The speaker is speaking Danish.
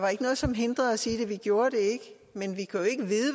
jo